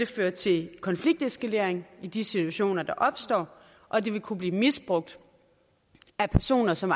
føre til konflikteskalering i de situationer der opstår og det vil kunne blive misbrugt af personer som